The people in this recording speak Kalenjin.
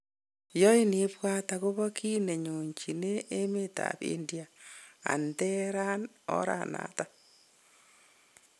Yoin ibwat, agobo gi nenyonjine, emetab India and ter en ora noton.